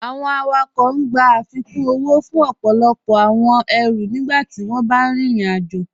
Awọn awakọń gbà afíkún owó fún ọpọlọpọ awọn èrú nígbàtí wọn bá rín ìrìn-àjọ.